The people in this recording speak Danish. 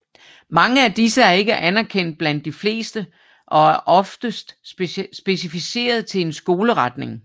Mange af disse er ikke anerkendt blandt de fleste og er oftest specificeret til en skoleretning